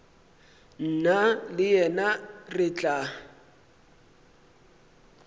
nna le yena re tla